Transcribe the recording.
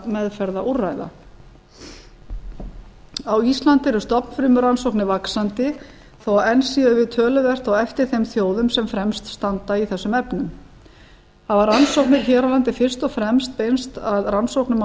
meðferðarúrræða á íslandi eru stofnfrumurannsóknir vaxandi þó að enn séum við töluvert á eftir þeim þjóðum sem fremst standa í þessum efnum hafa rannsóknir hér á landi fyrst og fremst beinst að rannsóknum